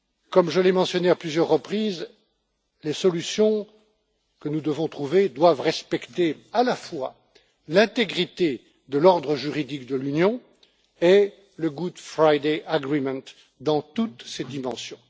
Comme je l'ai mentionné à plusieurs reprises, les solutions que nous devons trouver devront respecter à la fois l'intégrité de l'ordre juridique de l'Union et l'accord du vendredi saint dans toutes ses dimensions.